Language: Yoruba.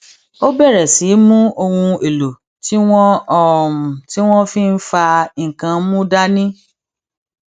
ó bèrè sí í mú ohun èlò tí wọn tí wọn fi n fa nnkan mu dání